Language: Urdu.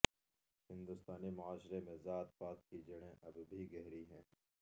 ہندوستانی معاشرے میں ذات پات کی جڑیں اب بھی گہری ہیں